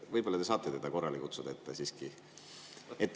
Võib-olla te saate teda korrale kutsuda.